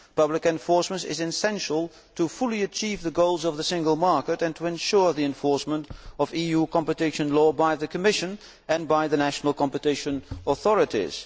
Public enforcement is essential to fully achieve the goals of the single market and to ensure the enforcement of EU competition law by the Commission and by the national competition authorities.